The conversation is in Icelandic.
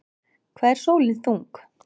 Hvað er sólin þung?